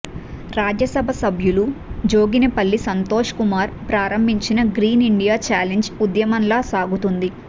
రాజ్యసభ సభ్యులు జోగినిపల్లి సంతోష్ కుమార ప్రారంభించిన green India challenge ఉద్యమంలా సాగుతుంది